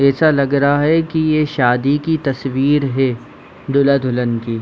ऐसा ये लग रहा है की ये शादी की तस्वीर है दूल्हा दुल्हन की--